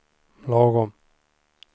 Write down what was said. lagom